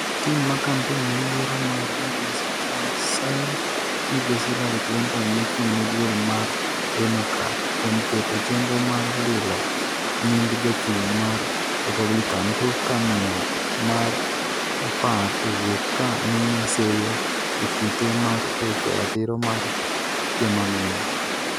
Tim ma Kampen ne yiero mar migosi Trump seyo migosi Hillary Clinton mochung'ne duol mar Democrat kuom keto chenro mar lilo nying' jachung' mar Republican tok ka miyo mar 10 owuok ka miye seyo e kite mar rocho ratiro mar jomamine.